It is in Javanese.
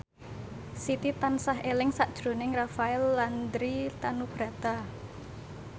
Siti tansah eling sakjroning Rafael Landry Tanubrata